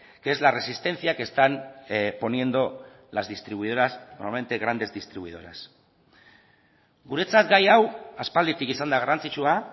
que es la resistencia que están poniendo las distribuidoras normalmente grandes distribuidoras guretzat gai hau aspalditik izan da garrantzitsua